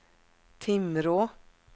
Timrå